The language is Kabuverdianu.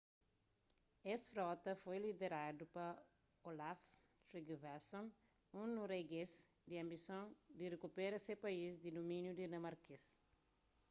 es frota foi lideradu pa olaf trygvasson un noruegês ku anbisons di rikupera se país di dumíniu dinamarkês